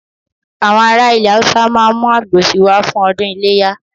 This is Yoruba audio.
Àwọn ará ilẹ̀ Haúsá ma mú àgbò si wá fún ọdún iléyà